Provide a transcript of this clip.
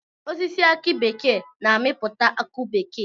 Osisi aki bekee na-amipụta akụ bekee.